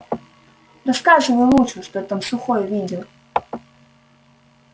рассказывай лучше что там сухой видел